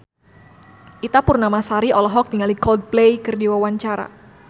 Ita Purnamasari olohok ningali Coldplay keur diwawancara